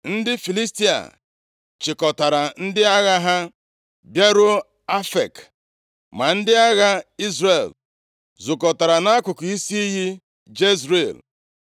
Ndị Filistia chịkọtara ndị agha ha bịaruo Afek, ma ndị agha Izrel zukọtara nʼakụkụ isi iyi Jezril.